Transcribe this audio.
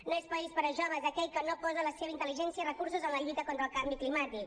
no és país per a joves aquell que no posa la seva intel·ligència i recursos en la lluita contra el canvi climàtic